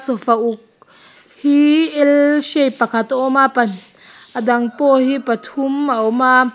sofa uk hi l shape pakhat a awma pa a dang pawh hi pathum a awma.